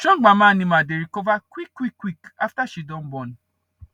strong mama animal dey recover quick quick quick after she don born